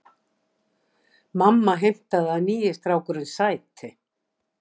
Mamma heimtaði að nýi strákurinn sæti.